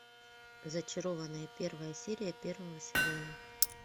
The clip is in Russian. зачарованные первая серия первого сезона